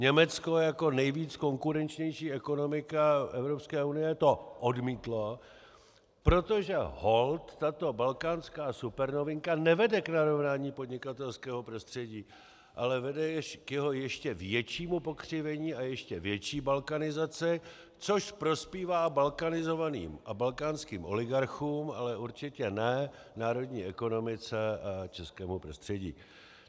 Německo jako nejvíc konkurenční ekonomika Evropské unie to odmítlo, protože holt tato balkánská supernovinka nevede k narovnání podnikatelského prostředí, ale vede k jeho ještě většímu pokřivení a ještě větší balkanizaci, což prospívá balkanizovaným a balkánským oligarchům, ale určitě ne národní ekonomice a českému prostředí.